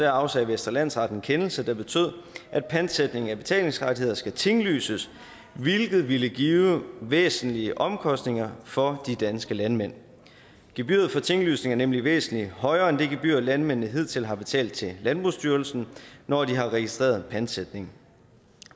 afsagde vestre landsret en kendelse der betød at pantsætning af betalingsrettigheder skal tinglyses hvilket vil give væsentlige omkostninger for de danske landmænd gebyret for tinglysning er nemlig væsentlig højere end det gebyr landmændene hidtil har betalt til landbrugsstyrelsen når de har registreret en pantsætning